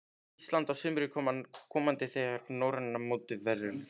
Íslands á sumri komanda þegar norræna mótið verður haldið.